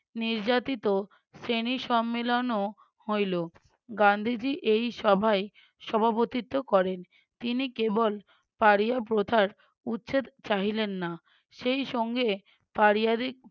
নির্যাতিত শ্রেণী সম্মিলনও হইলো, গান্ধীজী এই সভায় সভাপতিত্ব করেন তিনি কেবল পাড়িয়া প্রথার উচ্ছেদ চাহিলেন না সেই সঙ্গে পাড়িয়াদের